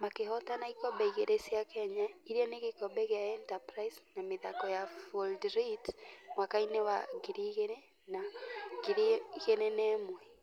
Makĩhotana ikombe igĩrĩ cia kenya iria nĩ gikobe gĩa Enterprise na mĩthako ya floodlit mwaka-inĩ wa 2000 na 2001.